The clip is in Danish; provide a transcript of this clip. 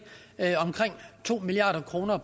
omkring to milliard kroner